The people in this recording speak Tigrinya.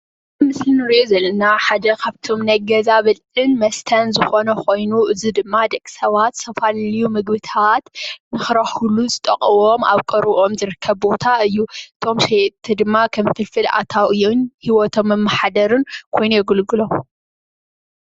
እዚ ምስሊ እንረእዮ ዘለና ሓደ ካብቶም ናይ ገዛ ብልዕን መስተን ዝኮነ ኮይኑ እዚ ድማ ደቂ ሰባት ዝተፈላለዩ ምግብታት ንክረክብሉ ዝጠቅሞም ኣብ ቀረብኦም ዝርከብ ቦታ እዩ። እቶም ሸየጥቲ ደማ ከም ፍልፍል ኣታዊኦምን ሂወቶም መመሓደርን ኮይኖም የገልግሎም።